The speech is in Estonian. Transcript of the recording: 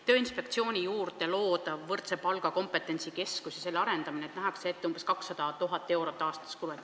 Tööinspektsiooni juurde loodav võrdse palga kompetentsikeskus ja selle arendamine – selleks nähakse ette umbes 200 000 eurot aastas.